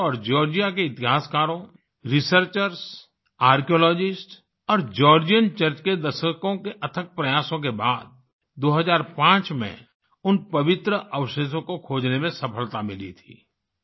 भारत सरकार और जॉर्जिया के इतिहासकारों रिसर्चर्स आर्कियोलॉजिस्ट्स और जॉर्जियन चर्च के दशकों के अथक प्रयासों के बाद 2005 में उन पवित्र अवशेषों को खोजने में सफलता मिली थी